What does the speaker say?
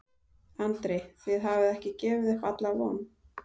Andri: Þið hafið ekki gefið upp alla von?